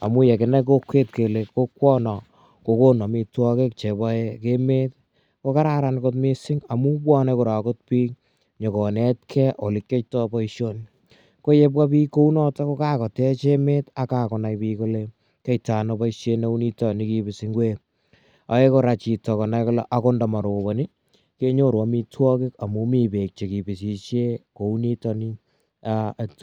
amu ye kakinai kokwet kele kokwana ko konu amitwogik che pae emet ko kararan kot missing' amu pwane akot pik nyu konetgei ole kiyaitai poishoni. Ko ye pwa pik kou notok ko kakotech emet ako kakonai pik kole kiyaitai ano poishet neu nitok kipisi ngwek. Ae kora chito konai kole akot nda maroponi kenyoru amitwogik amu mi peek che kipisishe kou nitani.